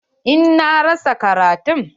Eh, na rasa karatun.